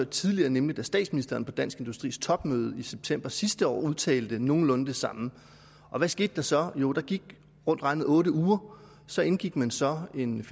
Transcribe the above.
tidligere nemlig da statsministeren på dansk industris topmøde i september sidste år udtalte nogenlunde det samme og hvad skete der så jo der gik rundt regnet otte uger så indgik man så en